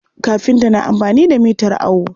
Kafinta na amfani da mitar awo.